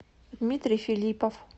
дмитрий филиппов